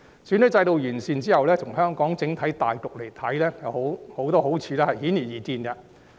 選舉制度完善後，從香港整體大局來看，有很多好處都是顯而易見的。